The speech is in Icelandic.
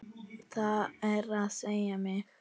Það er að segja mig.